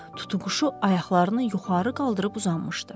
Tutuquşu ayaqlarını yuxarı qaldırıb uzanmışdı.